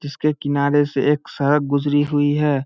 जिसके किनारे से एक सड़क गुजरी हुई है।